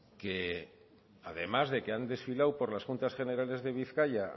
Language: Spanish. además de que han desfilado por las juntas generales de bizkaia